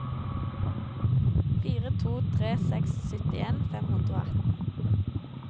fire to tre seks syttien fem hundre og atten